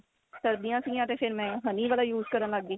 ਸਰਦੀਆਂ ਸੀਗੀਆਂ ਤੇ ਫੇਰ ਮੈਂ honey ਵਾਲਾ use ਕਰਨ ਲੱਗ ਗਈ